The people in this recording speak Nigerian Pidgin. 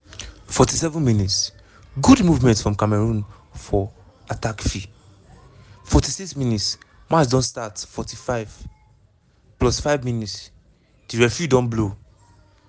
47 mins- good movement from cameroon for attackfi 46 mins- match don start 45+5 mins- di referee don blow